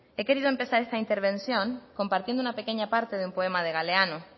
he querido empezar esta intervención compartiendo una pequeña parte de un poema de galeano